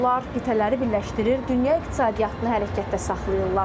Onlar qitələri birləşdirir, dünya iqtisadiyyatını hərəkətdə saxlayırlar.